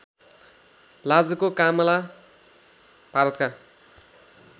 लाजको कामला भारतका